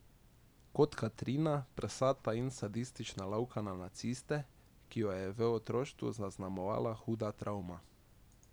Kot Katrina, prsata in sadistična lovka na naciste, ki jo je v otroštvu zaznamovala huda travma.